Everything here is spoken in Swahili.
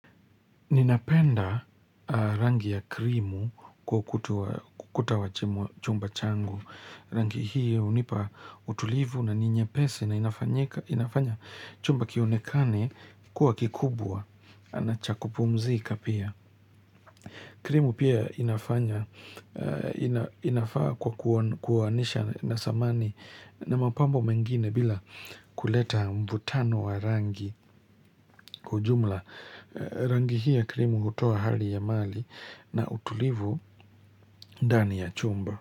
Ninapenda rangi ya krimu kwa ukuta wa chumba changu. Rangi hii unipa utulivu na ni nyepesi na inafanya chumba kionekane kuwa kikubwa na cha kupumzika pia. Krimu pia inafanya, inafaa kwa kuowanisha na samani na mapambo mengine bila kuleta mvutano wa rangi. Kwa ujumla rangi hi ya krimu hutoa hali ya mali na utulivu ndani ya chumba.